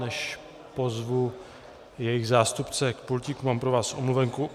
Než pozvu jejich zástupce k pultíku, mám pro vás omluvenku.